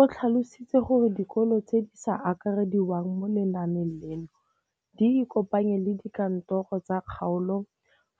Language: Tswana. O tlhalositse gore dikolo tse di sa akarediwang mo lenaaneng leno di ikopanye le dikantoro tsa kgaolo